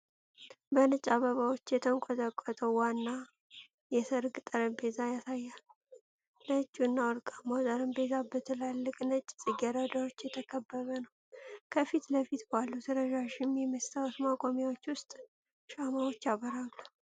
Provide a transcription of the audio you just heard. በነጭ አበባዎች የተንቆጠቆጠ ዋና የሠርግ ጠረጴዛ ያሳያል። ነጭውና ወርቃማው ጠረጴዛ በትላልቅ ነጭ ጽጌረዳዎች የተከበበ ነው። ከፊት ለፊት ባሉት ረዣዥም የመስታወት ማቆሚያዎች ውስጥ ሻማዎች ያበራሉ።